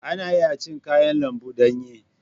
Ana iya cin kayan lambu danye.